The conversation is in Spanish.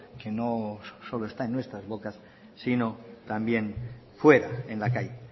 que no solo está en nuestras bocas sino también fuera en la calle